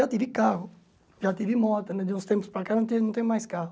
Já tive carro, já tive moto, de uns tempos para cá não não tenho mais carro.